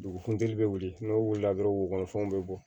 Dugu funteni bɛ wuli n'o wulila dɔrɔn wo fɛnw be bɔ